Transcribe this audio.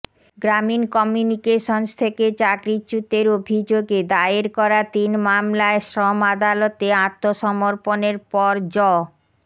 গ্রামীণ কমিউনিকেশন্স থেকে চাকরিচ্যুতের অভিযোগে দায়ের করা তিন মামলায় শ্রম আদালতে আত্মসমর্পণের পর জ